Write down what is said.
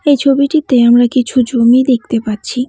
এই ছবিটিতে আমরা কিছু জমি দেখতে পাচ্ছি।